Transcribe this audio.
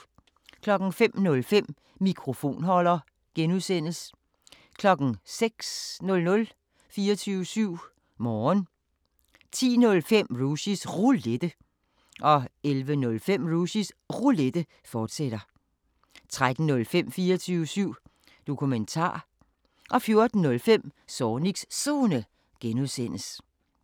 05:05: Mikrofonholder (G) 06:00: 24syv Morgen 10:05: Rushys Roulette 11:05: Rushys Roulette, fortsat 13:05: 24syv Dokumentar 14:05: Zornigs Zone (G)